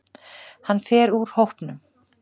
Hann fer úr hópnum.